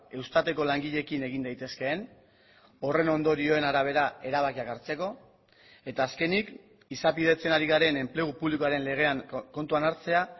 eustatekolangileekin egin daitezkeen horren ondorioen arabera erabakiak hartzeko eta azkenik izapidetzen ari garen enplegu publikoaren legean kontuan hartzea